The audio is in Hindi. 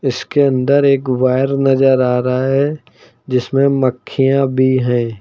इसके अंदर एक वायर नजर आ रहा है जिसमें मक्खियां भी हैं।